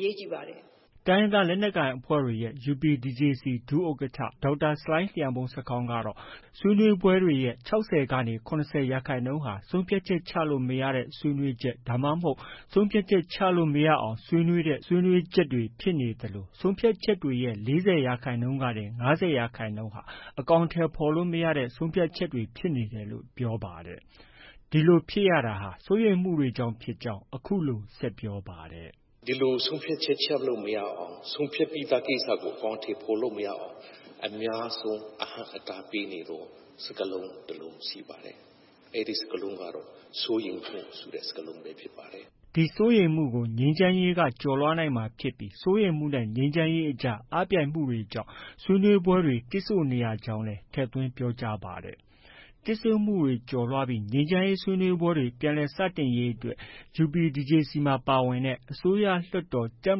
လိုပါတယ်။” တိုင်းရင်းသားလက်နက်ကိုင်တွေရဲ့ UPDJC ဒုဥက္ကဋ္ဌက ဒေါက်တာ ဆလိုင်းလျံမှုန်းဆာခေါင်းကတော့ ဆွေးနွေးပွဲတွေရဲ့ ၆၀ ကနေ ၇၀ ရာခိုင်နှုန်းဟာ ဆုံးဖြတ်ချက် ချလို့ မရတဲ့ ဆွေးနွေးချက် ဒါမှမဟုတ် ဆုံးဖြတ်ချက် ချလို့ မရအောင်ဆွေးနွေးတဲ့ ဆွေးနွေးချက်တွေဖြစ်နေသလို ဆုံးဖြတ်ချက်တွေရဲ့ ၄၀ ရာခိုင်နှုန်းကနေ ၅၀ ရာခိုင်နှုန်းဟာ အကောင်အထည်ဖော်လို့ မရတဲ့ ဆုံးဖြတ်ချက်တွေ ဖြစ်နေတယ်လို့ ပြောပါတယ်။ ဒီလိုဖြစ်ရတာဟာ စိုးရိမ်မှုတွေကြောင့် ဖြစ်ကြောင်း အခုလို ဆက်ပြောပြောပါတယ်။ “ဒီလို ဆုံးဖြတ်ချက် ချလို့ မရအောင်၊ ဆုံးဖြတ်ပြီးသားကို အကောင်အထည်ဖော်လို့ မရအောင် အများဆုံး အဟန့်အတားပေးနေသော စကားလုံး တစ်လုံးရှိပါတယ်။ အဲဒီစကားလုံးကတော့ စိုးရိမ်မှုဆိုတဲ့ စကားလုံးဖြစ်ပါတယ်။” ဒီစိုးရိမ်မှုကို ငြိမ်းချမ်းရေးက ကျော်လွှားနိုင်မှာဖြစ်ပြီး စိုးရိမ်မှုနဲ့ ငြိမ်းချမ်းရေးအကြား အားပြိုင်နေတာကြောင့် ဆွေးနွေးပွဲတွေ တစ်ဆို့ နေရကြောင်းလည်း ထည့်သွင်း ပြောကြားပါတယ်။ တစ်ဆို့မှုတွေ ကျော်လွှားပြီး ငြိမ်းချမ်းရေးဆွေးနွေးပွဲတွေ ပြန်လည်စတင်ရေးအတွက် UPDJC မှာ ပါဝင်တဲ့ အစိုးရ၊ လွှတ်တော်၊ တပ်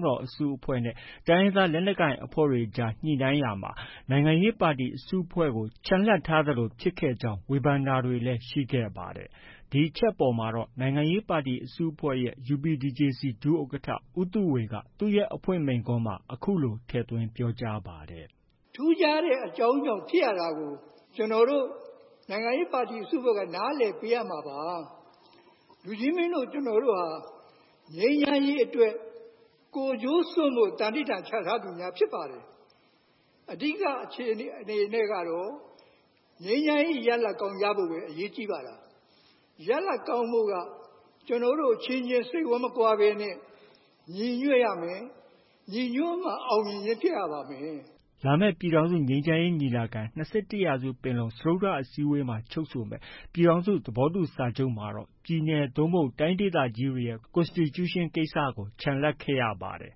မတော် အစုအဖွဲ့နဲ့ တိုင်းရင်းသားလက်နက်ကိုင်တွေအကြားညှိနှိုင်းရာမှာ နိုင်ငံရေးပါတီ အစုအဖွဲ့ကို ချန်လှပ်ထားသလို ဖြစ်ခဲ့ကြောင်း ဝေဖန်တာတွေရှိခဲ့ပါတယ်။ ဒီအချက်အပေါ်မှာတော့ နိုင်ငံရေးပါတီ အစုအဖွဲ့ရဲ့ UPDJC ဒုဥက္ကဋ္ဌ ဦးသုဝေက သူ့ရဲ့ အဖွင့်မိန့်ခွန်းမှာအခုလို ထည့်သွင်း ပြောကြားပါတယ်။ “ထူးခြားတဲ့အကြောင်းကြောင့် ဖြစ်ရတာကို ကျနော်တို့ နိုင်ငံရေးပါတီအစုအဖွဲ့က နားလည်ပေးရမှာပါ။ လူကြီးမင်းတို့ ကျနော်တို့ဟာ ငြိမ်းချမ်းရေးအတွက် ကိုယ်ကျိုးစွန့်ဖို့ သံဓိဌာန်ချထားသူများ ဖြစ်ပါတယ်။ အဓိက အခြေအနေနဲ့ကတော့ ငြိမ်းချမ်းရေးရလဒ်ကောင်း ရဖို့ပဲ အရေးကြီးတာပါ။ ရလဒ်ကောင်းဖို့က ကျနော်တို့အချင်းချင်း စိတ်ဝမ်းမကွဲဘဲနဲ့ ညီညွှတ်ရမယ်။ ညီညွှတ်မှ အောင်မြင်ခြင်းဖြစ်ရပါမယ်။” လာမယ့် ပြည်ထောင်စုငြိမ်းချမ်းရေးညီလာခံ- ၂၁ ရာစုပင်လုံ စတုတ္ထအစည်းအဝေးမှာ ချုပ်ဆိုမယ့် ပြည်ထောင်စု သဘောတူစာချုပ်မှာတော့ာ ပြည်နယ် သို့မဟုတ် တိုင်းဒေသကြီးတွေရဲ့ Constitution ကိစ္စကို ချန်လှပ်ခဲ့ရပါတယ်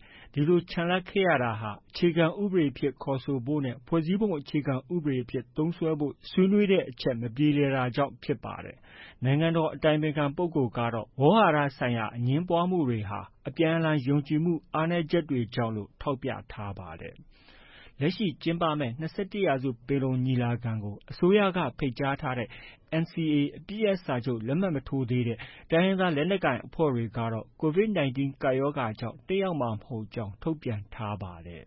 ။ ဒီလို ချန်လှပ်ရတာဟာ အခြေခံဥပဒေအဖြစ်ခေါ်ဆိုဖို့ နဲ့ ဖွဲ့စည်းပုံအခြေခံဥပဒေအဖြစ် သုံးစွဲဖို့ ဆွေးနွေးတဲ့အချက် မပြေလည်တာကြောင့်ဖြစ်ပါတယ်။ နိုင်ငံတော် အတိုင်ပင်ခံပုဂ္ဂိုလ်ကတော့ ဝေါဟာရဆိုင်ရာ အငြင်းပွားမှုတွေဟာ အပြန်အလှန်ယုံကြည်မှု အားနည်းချက်တွေကြောင့် လို့ ထောက်ပြထားပါတယ်။ လက်ရှိကျင်းပမယ့် ၂၁ ရာစုပင်လုံညီလာခံကိုတော့ NCA အပစ်ရပ်စာချုပ်လက်မှတ်မရေးထိုးသေးတဲ့ တိုင်းရင်းသားလက်နက်ကိုင်အဖွဲ့တွေကတော့ COVID 19 ကပ်ရောဂါကြောင့် တက်ရောက်မှာ မဟုတ်ကြောင်း ထုတ်ပြန်ထားပါတယ်။